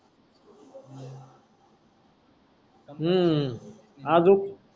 हु. अजुक.